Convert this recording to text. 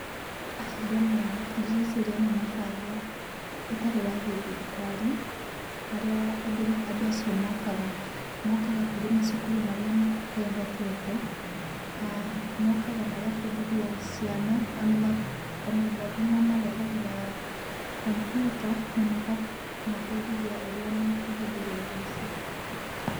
Ndona ũũ ndĩreciria nĩ mũbango ũtarĩ wa gĩthirikari harĩa andũ acio mokaga. Mokaga harĩ macukuru marĩa matehotete.[uh]Mokaga magabundithia ciana o na andũ angĩ mamarehagĩra computer na makamabundithia ũrĩa mangĩhũthĩra indo icio.